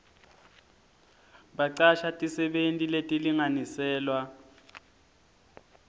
bacasha tisebenti letilinganiselwa